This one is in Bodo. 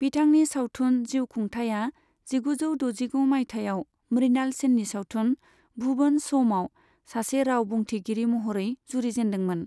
बिथांनि सावथुन जिउ खुंथाया जिगुजौ दजिगु मायथाइयाव मृणाल सेननि सावथुन भुवन श'मआव सासे राव बुंथिगिरि महरै जुरिजेनदोंमोन।